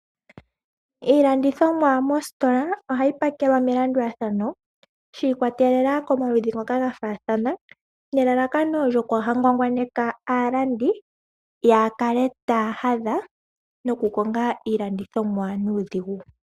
Iilandithomwa mositola ohayi pakelwa melandulathano, shi ikwatelela komaludhi ngoka ga faathana, nelalakano opo kaaya ngwangwaneke aalandi, yakale taya hadha, nokukonga iilandithomwa nuudhigu.